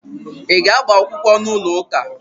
Ị ga-agba akwụkwọ n'ụlọụka?